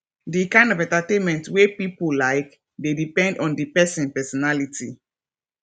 di kind of entertainment wey pipo like dey depend on di person personality